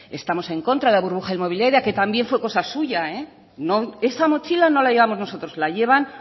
estamos en contra de la burbuja inmobiliaria que también fue cosa suya esa mochila no la llevamos nosotros la llevan